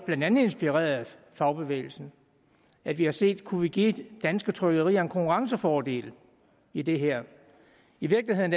blandt andet inspireret af fagbevægelsen at vi har set kunne give danske trykkerier en konkurrencefordel i det her i virkeligheden